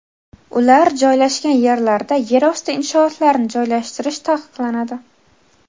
ular joylashgan yerlarda yer osti inshootlarini joylashtirish taqiqlanadi.